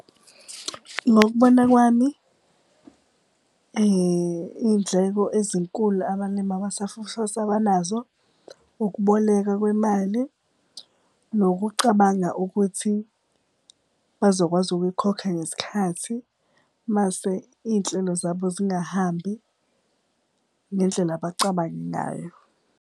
Ngokubona kwami iy'ndleko ezinkulu abalimi abasafufusa abanazo ukuboleka kwemali, nokucabanga ukuthi bazokwazi ukuyikhokha ngesikhathi, mase iy'nhlelo zabo zingahambi ngendlela abacabange ngayo.